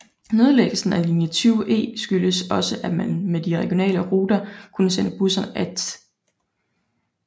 Nedlæggelsen af linje 20E skyldtes også at man med de regionale ruter kunne sende busserne af Th